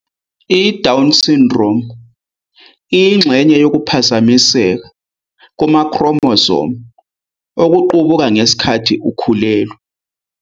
I-Down Syndrome iyingxenye yokuphazamiseka kuma-chromosome okuqubuka ngesikhathi ukhulelwa.